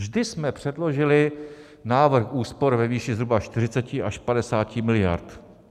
Vždy jsme předložili návrh úspor ve výši zhruba 40 až 50 miliard.